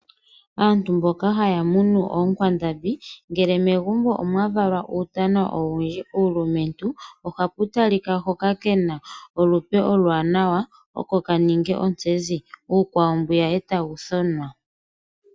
Aantu mboka haya munu oonkwandambi ngele megumbo omwa valwa uutana owindji uulumentu ohapu talika hoka ke na olupe oluwanawa oko ka ninge ontsezi, omanga uukwawo tawu thonwa.